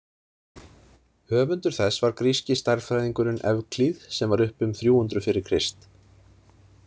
Höfundur þess var gríski stærðfræðingurinn Evklíð sem var uppi um þrjú hundruð fyrir Krist